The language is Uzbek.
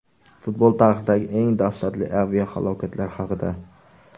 Futbol tarixidagi eng dahshatli aviahalokatlar haqida.